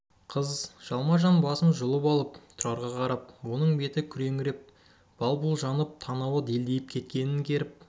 қыз жалма-жан басын жұлып алып тұрарға қарап оның беті күреңітіп бал-бұл жанып танауы делдиіп кеткенін керіп